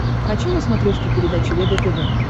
хочу на смотрешке передачу егэ тв